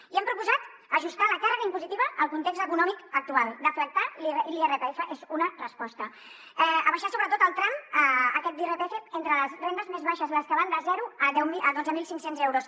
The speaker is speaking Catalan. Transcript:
i hem proposat ajustar la càrrega impositiva al context econòmic actual deflactar l’irpf és una resposta abaixar sobretot el tram aquest d’irpf entre les rendes més baixes les que van de zero a dotze mil cinc cents euros